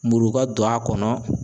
Muruba ton a kɔnɔ